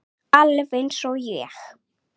Alveg eins og ég!